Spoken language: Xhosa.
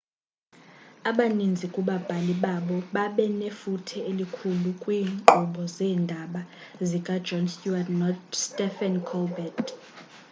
abaninzi kubabhali babo babe nefuthe elikhulu kwiinkqubo zeendaba zika-jon stewart no-stephen colbert